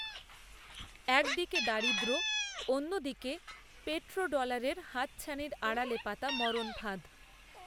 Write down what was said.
একদিকে দারিদ্রঅন্যদিকেপেট্রো ডলারের হাতছানির আড়ালে পাতা মরণফাঁদ